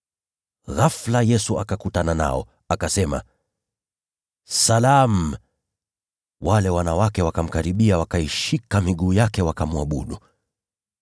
Ghafula, Yesu akakutana nao, akasema, “Salamu!” Wale wanawake wakamkaribia, wakaishika miguu yake, wakamwabudu.